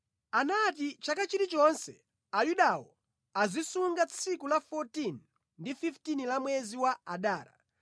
Anati chaka chilichonse, Ayudawo azisunga tsiku la 14 ndi 15 la mwezi wa Adara,